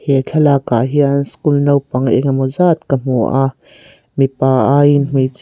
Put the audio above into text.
he thlalak ah hian school naupang engemaw zat ka hmu a mipa aiin hmeichhia--